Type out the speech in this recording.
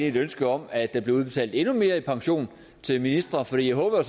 et ønske om at der bliver udbetalt endnu mere i pension til ministre for jeg håber